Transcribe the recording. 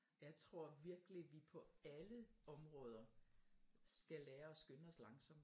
Jeg tror virkelig at vi på alle områder skal lære og skynde os langsomt